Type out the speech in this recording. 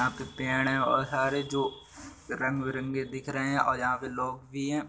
यहाँ पे पेड़ हैं और सारे जो रंग बिरंगे दिख रहे हैं और यहाँ पे लोग भी हैं।